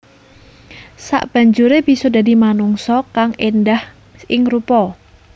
Sabanjuré bisa dadi manungsa kang èndah ing rupa